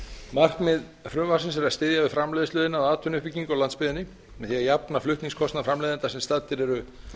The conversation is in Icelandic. markmið frumvarpsins er að styðja við framleiðsluiðnað og atvinnuuppbyggingu á landsbyggðinni með því að jafna flutningskostnað framleiðenda sem staddir eru